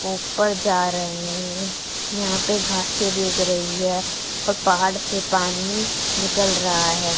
ऊपर जा रहे है यहा पे घासे भी उग रही है और पहाड़ से पानी निकल रहा है।